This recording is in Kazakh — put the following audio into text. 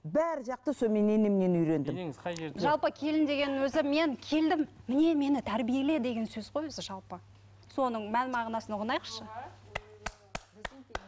бар жақты сол мен енемнен үйрендім енеңіз қай жалпы келін деген өзі мен келдім міне мені тәрбиеле деген сөз ғой өзі жалпы соның мән мағынасын ұғынайықшы